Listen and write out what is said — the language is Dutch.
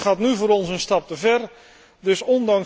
Dat gaat nu voor ons een stap te ver dus!